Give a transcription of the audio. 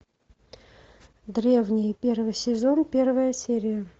древние первый сезон первая серия